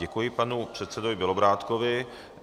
Děkuji panu předsedovi Bělobrádkovi.